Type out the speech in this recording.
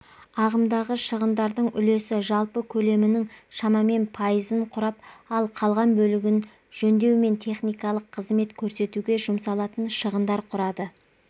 ағымдағы шығындардың үлесі жалпы көлемінің шамамен пайызын құрап ал қалған бөлігін жөндеу мен техникалық қызмет көрсетуге жұмсалатын шығындар құрады